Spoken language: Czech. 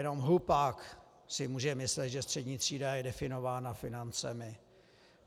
Jenom hlupák si může myslet, že střední třída je definována financemi.